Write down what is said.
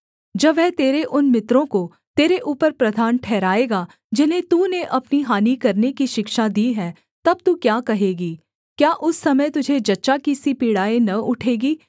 जब वह तेरे उन मित्रों को तेरे ऊपर प्रधान ठहराएगा जिन्हें तूने अपनी हानि करने की शिक्षा दी है तब तू क्या कहेगी क्या उस समय तुझे जच्चा की सी पीड़ाएँ न उठेंगी